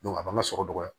a b'an ka so dɔgɔya